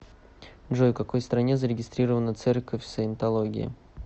джой в какой стране зарегистрирована церковь саентологии